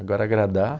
Agora, agradar,